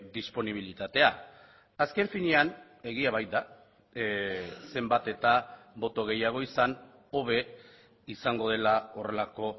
disponibilitatea azken finean egia baita zenbat eta boto gehiago izan hobe izango dela horrelako